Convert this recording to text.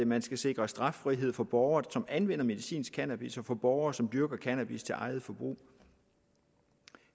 man skal sikre straffrihed for borgere som anvender medicinsk cannabis og for borgere som dyrker cannabis til eget forbrug